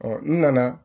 n nana